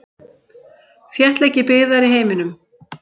Þéttleiki byggðar í heiminum.